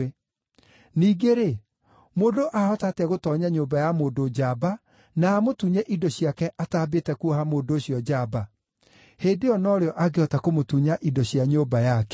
“Ningĩ-rĩ, mũndũ aahota atĩa gũtoonya nyũmba ya mũndũ njamba na amũtunye indo ciake ataambĩte kuoha mũndũ ũcio njamba? Hĩndĩ ĩyo no rĩo angĩhota kũmũtunya indo cia nyũmba yake.